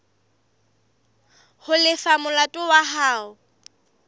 ho lefa molato wa hao